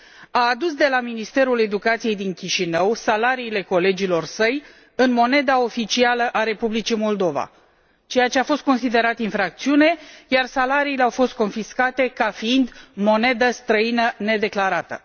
A adus de la Ministerul Educației din Chișinău salariile colegilor săi, în moneda oficială a Republicii Moldova, ceea ce a fost considerat infracțiune, iar salariile au fost confiscate ca fiind monedă străină nedeclarată.